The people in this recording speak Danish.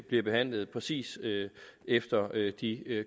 bliver behandlet præcis efter de